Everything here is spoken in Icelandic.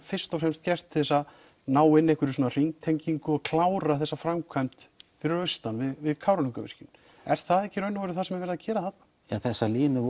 fyrst og fremst gert til að ná inn einhvers konar hringtengingu og klára framkvæmd fyrir austan við Kárahnjúkavirkjun er það ekki í raun og veru það sem er verið að gera þarna ja þessar línur